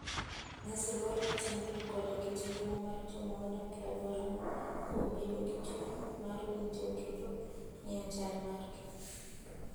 Nyis luor ne timbe koda kit ngima mar joma odak e alworano kuom bedo gi chuny mar winjo kendo ng'eyo chal margi.